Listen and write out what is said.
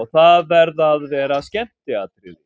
og það verða að vera skemmtiatriði.